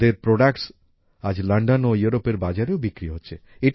তাঁদের প্রোডাক্টস আজ লন্ডন ও ইউরোপের বাজারেও বিক্রি হচ্ছে